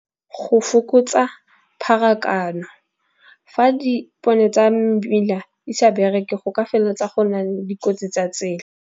Go fokotsa pharakano fa dipone tsa mmila, di sa bereke go ka felela tsa go na le dikotsi tsa tsela.